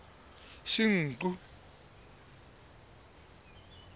senqu